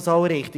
Weshalb dies?